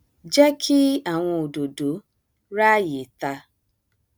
jẹ kí àwọn òdòdó ráàyè ta